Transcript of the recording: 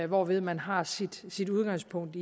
hvorved man har sit udgangspunkt